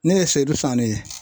Ne ye Seidou Fane ye.